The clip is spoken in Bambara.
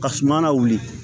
Ka suma lawuli